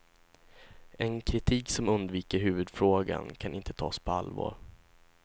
En kritik som undviker huvudfrågan kan inte tas på allvar.